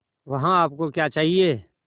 वहाँ आप को क्या चाहिए